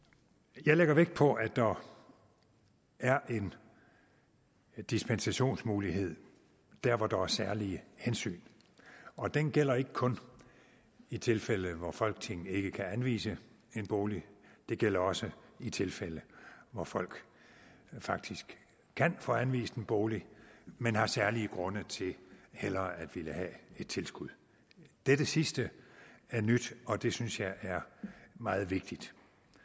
jeg lægger vægt på at der er en dispensationsmulighed dér hvor der er særlige hensyn og den gælder ikke kun i tilfælde hvor folketinget ikke kan anvise en bolig det gælder også i tilfælde hvor folk faktisk kan få anvist en bolig men har særlige grunde til hellere at ville have et tilskud dette sidste er nyt og det synes jeg er meget vigtigt